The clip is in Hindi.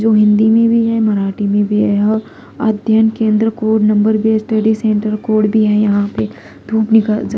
जो हिंदी में भी है मराठी में भी है अध्ययन केंद्र कोड नंबर भी स्टडी सेंटर कोड भी है यहां पे धूप निकल --